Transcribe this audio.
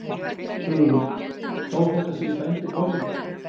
Hugrún: Þó þetta séu dæmdir morðingjar?